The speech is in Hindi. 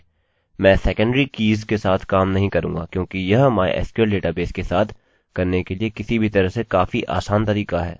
मैं सेकन्डरीsecondary कीज़keys के साथ काम नहीं करूँगा क्योंकि यह mysql डेटाबेस के साथ करने के लिए किसी भी तरह से काफी आसान तरीका है